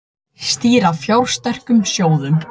Stýra fjársterkum sjóðum